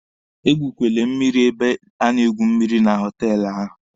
Egwukwere mmịrị n'ebe a na-egwu mmịrị na họtelụ ahụ!